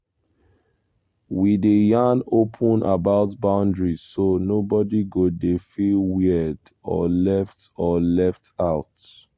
we dey yarn open about boundary so nobody go dey feel weird or left or left out.